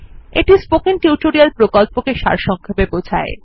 এটি spoken tutorial প্রকল্পটি সারসংক্ষেপে বোঝায়